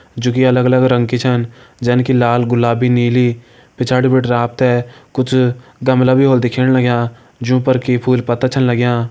जु की अलग अलग रंग की छन जन की लाल गुलाबी नीली पिछाड़ी बटिन आप ते कुछ गमला भी होल दिखेण लग्यां जु पर की फूल पत्ता छन लग्यां।